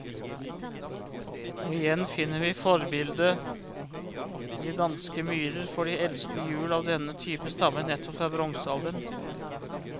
Og igjen finner vi forbildet i de danske myrer, for de eldste hjul av denne type stammer nettopp fra bronsealderen.